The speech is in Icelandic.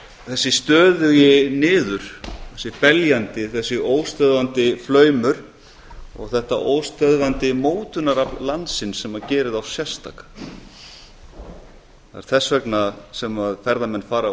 þessi stöðugi niður þessi beljandi þessi óstöðvandi flaumur og þetta óstöðvandi mótunarafl landsins sem gerir þá sérstaka það er þess vegna sem ferðamenn fara og